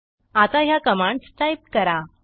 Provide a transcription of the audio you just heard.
आता ह्या commands type करा